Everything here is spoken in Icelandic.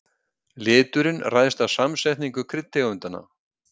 Liturinn ræðst af samsetningu kryddtegundanna.